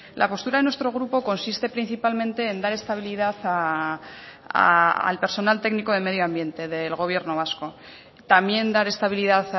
la postura de nuestro grupo consiste principalmente en dar estabilidad al personal técnico de medio ambiente del gobierno vasco también dar estabilidad